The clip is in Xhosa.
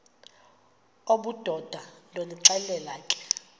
obudoda ndonixelela ke